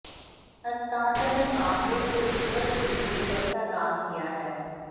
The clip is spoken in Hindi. हस्तांतरण मामले से ऊपर भी एक अच्छा काम किया है